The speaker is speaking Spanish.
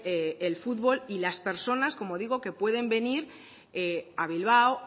el fútbol y las personas como digo que pueden venir a bilbao